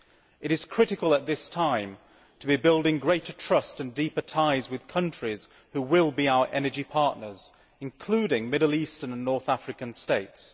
It is critical at this time to be building greater trust and deeper ties with countries who will be our energy partners, including Middle Eastern and North African states.